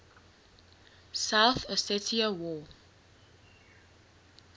south ossetia war